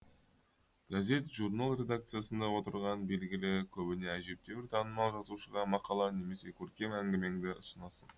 газет журнал редакциясында отырған белгілі көбіне әжептәуір танымал жазушыға мақала немесе көркем әңгімеңді ұсынасың